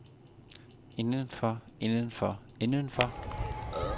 indenfor indenfor indenfor